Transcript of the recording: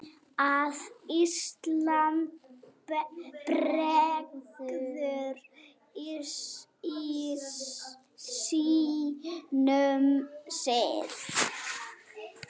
að Ísland bregður sínum sið